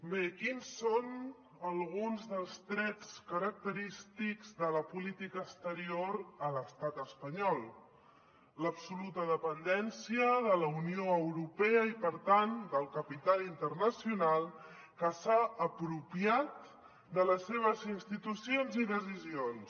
bé quins són alguns dels trets característics de la política exterior a l’estat espanyol l’absoluta dependència de la unió europea i per tant del capital internacional que s’ha apropiat de les seves institucions i decisions